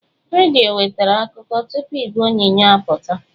Redio wetara akụkọ tụpụ igwe onyonyo apụta.